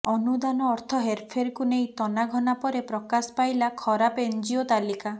ଅନୁଦାନ ଅର୍ଥ ହେରଫେରକୁ ନେଇ ତନାଘନା ପରେ ପ୍ରକାଶ ପାଇଲା ଖରାପ ଏନ୍ଜିଓ ତାଲିକା